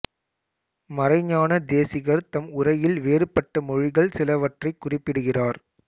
மறைஞான தேசிகர் தம் உரையில் வேறுபட்ட மொழிகள் சிலவற்றைக் குறிப்பிடுகிறார்